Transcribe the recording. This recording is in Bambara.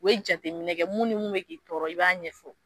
U Be jateminɛ kɛ mun ni mun mɛ k'i tɔɔrɔ, i b'a ɲɛfɔ